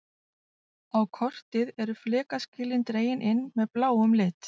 Á kortið eru flekaskilin dregin inn með bláum lit.